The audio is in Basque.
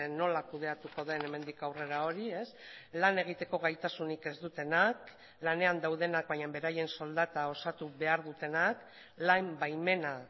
nola kudeatuko den hemendik aurrera hori lan egiteko gaitasunik ez dutenak lanean daudenak baina beraien soldata osatu behar dutenak lan baimena